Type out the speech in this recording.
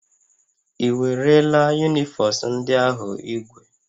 Ị werela unifos ndị ahụ ígwè?